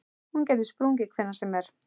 Hún gæti sprungið hvenær sem er.